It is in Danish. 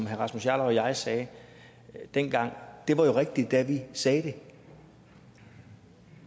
herre rasmus jarlov og jeg sagde dengang jo var rigtigt da vi sagde det